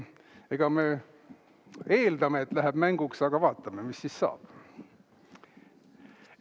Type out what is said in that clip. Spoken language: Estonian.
Eeldame, et läheb mänguks, aga vaatame, mis saab.